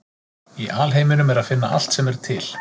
Í alheiminum er að finna allt sem er til.